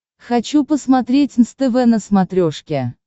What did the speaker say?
хочу посмотреть нств на смотрешке